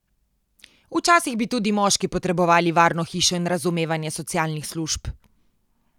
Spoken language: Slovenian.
Včasih bi tudi moški potrebovali varno hišo in razumevanje socialnih služb.